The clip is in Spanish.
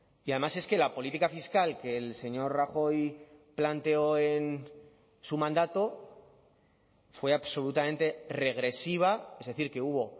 y además es que la política fiscal que el señor rajoy planteó en su mandato fue absolutamente regresiva es decir que hubo